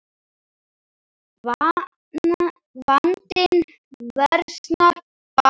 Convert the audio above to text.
Vandinn versnar bara.